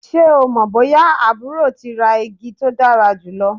Ṣe o mọ boya aburo ti ra igi to dara julọ?